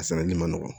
A sarali man nɔgɔn